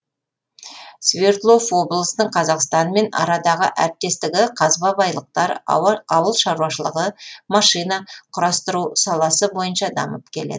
свердлов облысының қазақстанмен арадағы әріптестігі қазба байлықтар ауыл шаруашылығы машина құрастыру саласы бойынша дамып келет